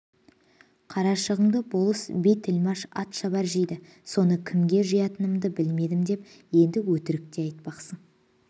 қарашығынды болыс би тілмаш атшабар жейді соны кімге жиятынымды білмедім деп енді өтірік те айтпақсың